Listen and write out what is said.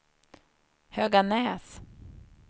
Höganäs